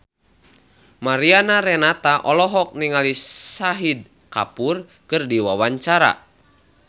Mariana Renata olohok ningali Shahid Kapoor keur diwawancara